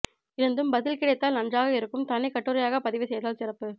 இருந்தும் பதில் கிடைத்தால் நன்றாக இருக்கும் தனி கட்டுரையாக பதிவுசெய்தால் சிறப்பு